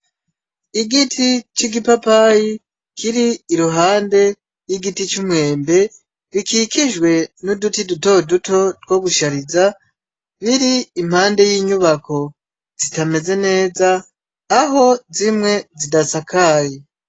Igiti c'igipapayi kiri iruhande y'igiti c'umwembe bikikijwe n'uduti dutoduto two gushariza biri impande y'inyubako zitameze neza aho zimwe zidasakaye.